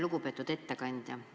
Lugupeetud ettekandja!